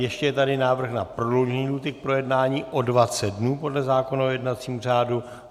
Ještě je tady návrh na prodloužení lhůty k projednání o 20 dnů podle zákona o jednacím řádu.